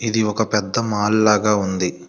The ఒక పెద్ద mall లాగా ఉంది.